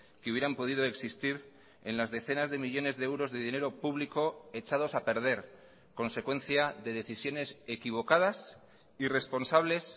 que hubieran podido existir en las decenas de millónes de euros de dinero público echados a perder consecuencia de decisiones equivocadas irresponsables